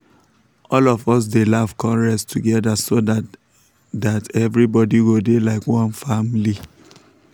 all of us dey laugh con rest together so that that everybody go dey like one family.